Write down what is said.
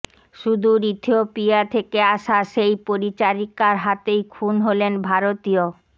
সুদূর ইথিওপিয়া থেকে আসা সেই পরিচারিকার হাতেই খুন হলেন ভারতীয়